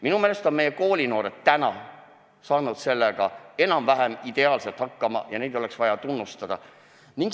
Minu meelest on meie tänased koolinoored saanud sellega enam-vähem ideaalselt hakkama ja neid oleks vaja tunnustada.